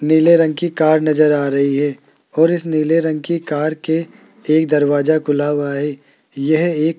नीले रंग की कार नज़र आ रही है और इस नीले रंग की कार के एक दरवाज़ा खुला हुआ है यह एक --